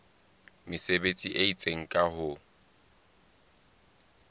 mesebetsi e itseng ka ho